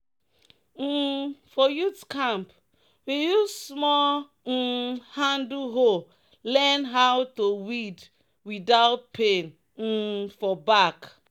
um "for youth camp we use small um handle hoe learn how to weed without pain um for back."